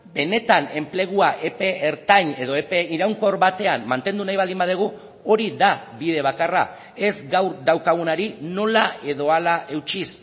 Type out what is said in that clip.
benetan enplegua epe ertain edo epe iraunkor batean mantendu nahi baldin badugu hori da bide bakarra ez gaur daukagunari nola edo hala eutsiz